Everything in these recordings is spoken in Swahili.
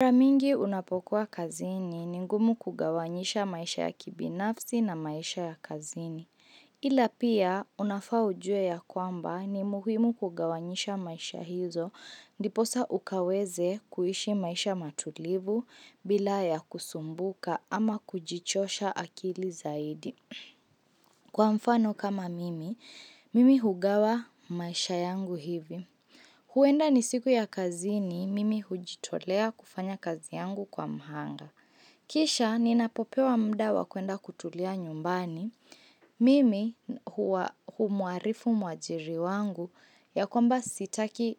Kwa mingi unapokuwa kazini ni ngumu kugawanyisha maisha ya kibinafsi na maisha ya kazini. Ila pia, unafaa ujue ya kwamba ni muhimu kugawanyisha maisha hizo, niposa ukaweze kuishi maisha matulivu, bila ya kusumbuka ama kujichosha akili zaidi. Kwa mfano kama mimi, mimi hugawa maisha yangu hivi. Huenda ni siku ya kazini mimi hujitolea kufanya kazi yangu kwa mhanga. Kisha ninapopewa mda wakuenda kutulia nyumbani. Mimi humuarifu mwajiri wangu ya kwamba sitaki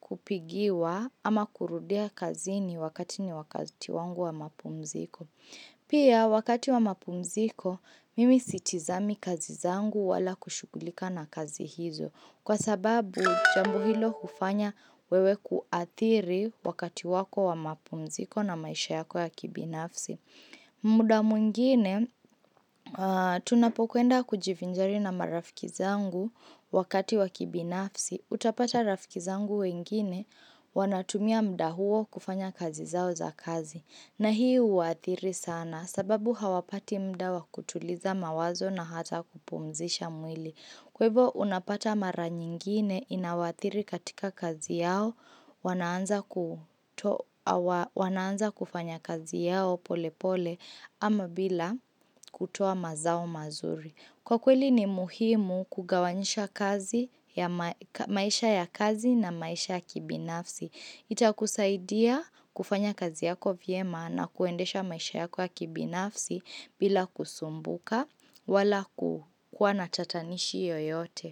kupigiwa ama kurudia kazini wakati ni wakati wangu wa mapumziko. Pia wakati wa mapumziko mimi sitizami kazi zangu wala kushugulika na kazi hizo. Kwa sababu, jambo hilo ufanya wewe kuathiri wakati wako wa mapumziko na maisha yako ya kibinafsi. Muda mwingine, tunapokuenda kujivinjari na marafiki zangu wakati wa kibinafsi. Utapata rafikizangu wengine wanatumia muda huo kufanya kazi zao za kazi. Na hii uathiri sana sababu hawapati muda wa kutuliza mawazo na hata kupumzisha mwili. Kwa hivo unapata mara nyingine inawathiri katika kazi yao wanaanza kufanya kazi yao pole pole ama bila kutoa mazao mazuri. Kwa kweli ni muhimu kugawanyisha maisha ya kazi na maisha ya kibinafsi. Ita kusaidia kufanya kazi yako vye maana kuendesha maisha ya kibinafsi bila kusumbuka wala kukuanatatanishi yoyote.